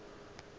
o be a ka se